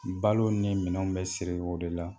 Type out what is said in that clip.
Balo ni minɛn bɛ siri o de la